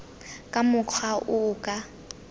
ka mokgwa o o ka